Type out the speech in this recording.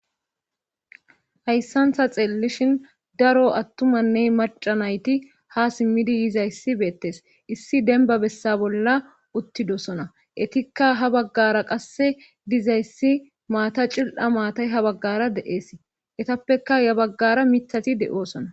Hayssantha xeellishin daro attumanney maca nayti ha simmidi yizayssi beettes issi denba bessa bolla uttidosona etikka ha baggara qasse dizayssi maata cil7a maatay ha baggara de7ees etappeka ya baggara mithati de7oosona.